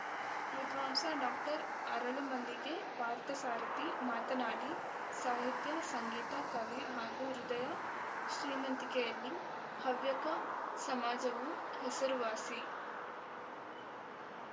ವಿದ್ವಾಂಸ ಡಾಕ್ಟರ್ ಅರಳುಮಲ್ಲಿಗೆ ಪಾರ್ಥಸಾರಥಿ ಮಾತನಾಡಿ ಸಾಹಿತ್ಯ ಸಂಗೀತ ಕಲೆ ಹಾಗೂ ಹೃದಯ ಶ್ರೀಮಂತಿಕೆಯಲ್ಲಿ ಹವ್ಯಕ ಸಮಾಜವು ಹೆಸರು ವಾಸಿ